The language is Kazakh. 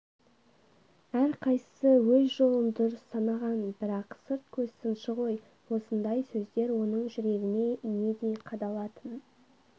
әрқайсысы өз жолын дұрыс санаған бірақ сырт көз сыншы ғой осындай сөздер оның жүрегіне инедей қадалатын